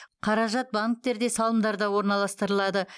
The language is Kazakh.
қаражат банктерде салымдарда орналастырылады